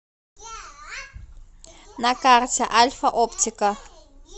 на карте альфа оптика